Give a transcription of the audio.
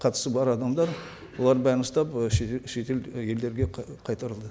қатысы бар адамдар олар бәрін ұстап ы шетел елдерге қайтарылды